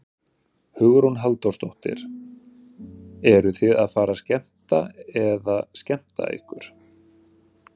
Hugrún Halldórsdóttir: Eruð þið að fara að skemmta eða skemmta ykkur?